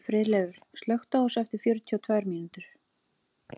Friðleifur, slökktu á þessu eftir fjörutíu og tvær mínútur.